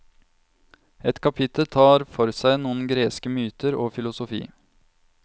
Et kapittel tar for seg noen greske myter og filosofi.